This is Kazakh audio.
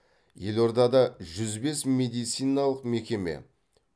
елордада жүз бес медициналық мекеме